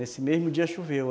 Nesse mesmo dia choveu.